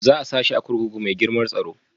Za a sa shi a kurkuku mai girmar tsaro?